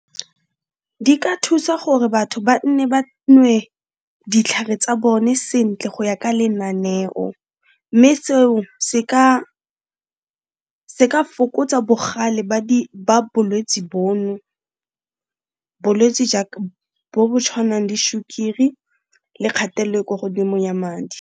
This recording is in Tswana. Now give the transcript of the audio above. Di ka thusa gore batho ba nne ba nwe ditlhare tsa bone sentle go ya ka lenaneo, mme seo se ka fokotsa bogale ba bolwetse bono, bolwetse jaaka bo bo tshwanang le sukiri le kgatello e kwa godimo ya madi.